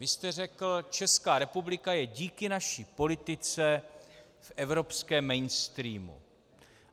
Vy jste řekl: Česká republika je díky naší politice v evropském mainstreamu.